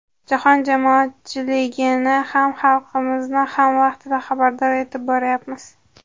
Jahon jamoatchiligini ham, xalqimizni ham vaqtida xabardor etib boryapmiz.